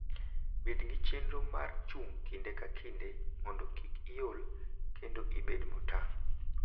Bed gi chenro mar chung' kinde ka kinde mondo kik iol kendo ibed motang'.